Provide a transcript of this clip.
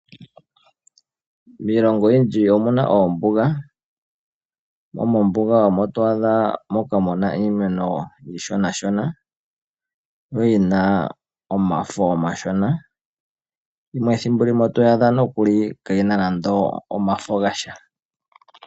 Miilongo oyindji omuna oombuga, mo moombuga omo to adha moka muna iimeno iishonashona, yo yina omafo omashona, yimwe thimbo limwe oto adha nokuli kaayina naande omafo gasha.